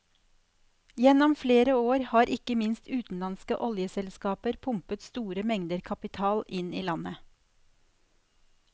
Gjennom flere år har ikke minst utenlandske oljeselskaper pumpet store mengder kapital inn i landet.